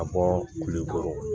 A bɔ kulikɔrɔ